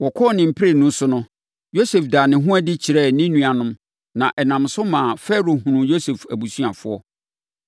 Wɔkɔɔ ne mprenu so no, Yosef daa ne ho adi kyerɛɛ ne nuanom, na ɛnam so maa Farao hunuu Yosef abusuafoɔ.